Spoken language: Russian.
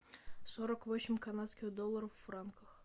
сорок восемь канадских долларов в франках